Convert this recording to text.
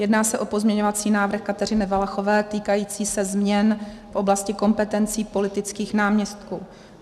Jedná se o pozměňovací návrh Kateřiny Valachové týkající se změn v oblasti kompetencí politických náměstků.